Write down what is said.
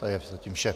To je zatím vše.